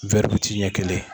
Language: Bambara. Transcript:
wɛri witi ɲɛ kelen